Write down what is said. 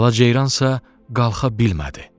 Bala ceyransa qalxa bilmədi.